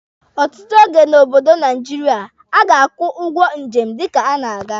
Ọtụtụ oge n'obodo Naijiria, a ga-akwụ ụgwọ njem dịka a na-aga.